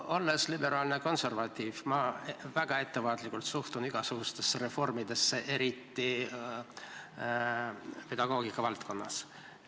Olles liberaalne konservatiiv, suhtun ma väga ettevaatlikult igasugustesse reformidesse, eriti pedagoogika valdkonnas.